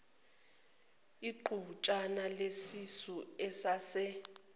iqhutshana lesisu esase